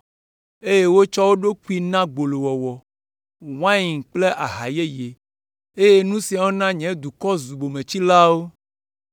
eye wotsɔ wo ɖokuiwo na gbolowɔwɔ, wain, kple aha yeye, eye nu siawo na nye dukɔ zu bometsilawo.